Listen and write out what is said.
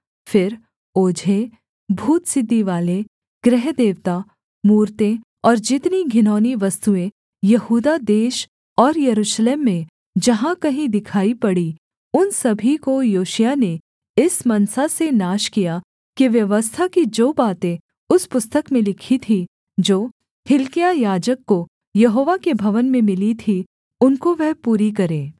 फिर ओझे भूतसिद्धिवाले गृहदेवता मूरतें और जितनी घिनौनी वस्तुएँ यहूदा देश और यरूशलेम में जहाँ कहीं दिखाई पड़ीं उन सभी को योशिय्याह ने इस मनसा से नाश किया कि व्यवस्था की जो बातें उस पुस्तक में लिखी थीं जो हिल्किय्याह याजक को यहोवा के भवन में मिली थी उनको वह पूरी करे